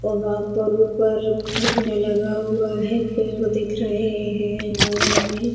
और वहाँ पर ऊपर झंडा लगा हुआ है पेड़ दिख रहे है बाजु में--